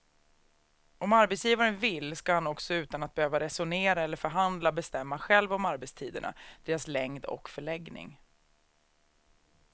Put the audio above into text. Om arbetsgivaren vill ska han också utan att behöva resonera eller förhandla bestämma själv om arbetstiderna, deras längd och förläggning.